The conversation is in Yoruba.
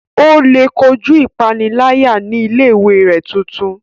O le kojú ipanilaya ní ilé-ìwé tuntun rẹ